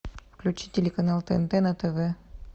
включи телеканал тнт на тв